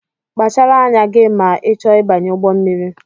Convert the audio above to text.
Kpachara anya gị ma I chọọ ịbanye ụgbọ mmiri!